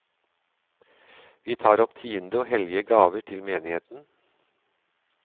Vi tar opp tiende og hellige gaver til menigheten.